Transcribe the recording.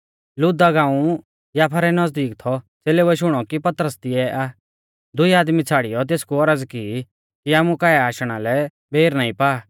लुद्दा गांउ याफा रै नज़दीक थौ च़ेलेउऐ शुणौ कि पतरस तिऐ आ दुई आदमी छ़ाड़ियौ तेसकु औरज़ की कि आमु काऐ आशणा लै बेर नाईं पा